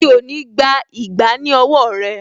Mi ò ní gbà ìgbá ní owó rẹ̀